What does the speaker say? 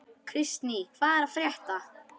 Kristný, hvað er að frétta?